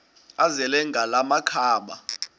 azele ngala makhaba